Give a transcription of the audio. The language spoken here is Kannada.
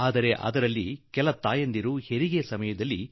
ಆದರೆ ಕೆಲವು ತಾಯಂದಿರು ಪ್ರಸವ ಸಮಯದಲ್ಲಿ ಸಾವನ್ನಪ್ಪುತ್ತಾರೆ